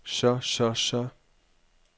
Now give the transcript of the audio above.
så så så